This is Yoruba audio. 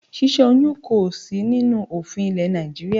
Ṣíṣẹ́ oyún kò sí nínú òfin ilé Nàìjíríà.